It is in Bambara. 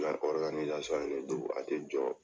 in de do a tɛ jɔ.